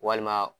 Walima